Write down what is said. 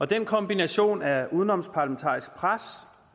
den kombination af udenomparlamentarisk pres